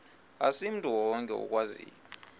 asimntu wonke okwaziyo